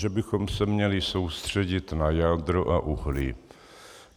Že bychom se měli soustředit na jádro a uhlí.